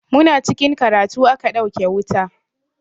Muna cikin karatu aka ɗauke wuta.